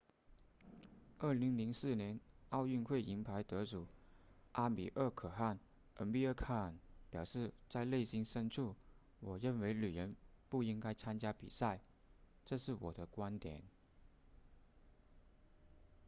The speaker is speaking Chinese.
2004年奥运会银牌得主阿米尔可汗 amir khan 表示在内心深处我认为女人不应该参加比赛这是我的观点